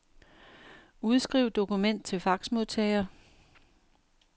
Udskriv dokument til faxmodtager.